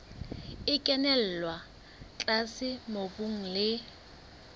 e kenella tlase mobung le